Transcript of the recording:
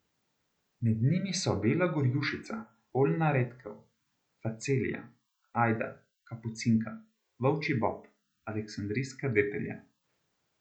Med njimi so bela gorjušica, oljna redkev, facelija, ajda, kapucinka, volčji bob, aleksandrijska detelja.